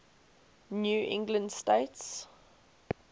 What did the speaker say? new england states